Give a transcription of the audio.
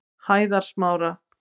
Hæðasmára